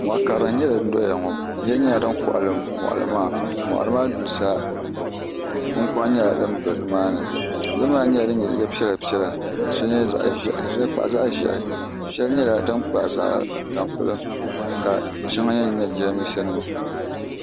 moɣa karili n nyɛ din doya ŋɔ yiya nyɛla din kɔɣali moɣali maa moɣali maa duli sa kunkuna nyɛ din bɛ nimaani yiya maa nyɛla din nyɛ yili piɛla piɛla ka shɛli nyɛ zaɣ ʒiɛhi ka shɛŋa kpahi zaɣ ʒiɛhi shɛli nyɛla din kpahi tampilim ka shɛŋa nyɛnnyɛ jiranbiisa nima